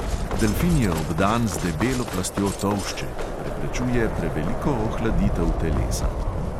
Delfin je obdan z debelo plastjo tolšče, ki preprečuje preveliko ohladitev telesa.